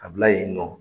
A bila yen nɔ